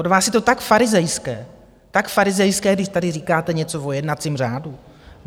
Od vás je to tak farizejské, tak farizejské, když tady říkáte něco o jednacím řádu.